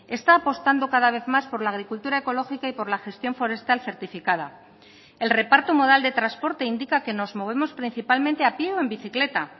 está apostando cada vez más por la agricultura ecológica y por la gestión forestal certificada el reparto modal de transporte indica que nos movemos principalmente a pie o en bicicleta